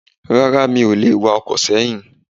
Rárá mi ò lè wa ọkọ̀ sẹ́yìn.